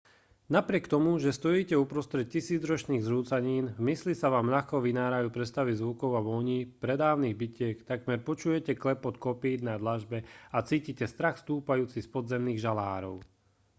napriek tomu že stojíte uprostred tisícročných zrúcanín v mysli sa vám ľahko vynárajú predstavy zvukov a vôní pradávnych bitiek takmer počujete klepot kopýt na dlažbe a cítite strach stúpajúci z podzemných žalárov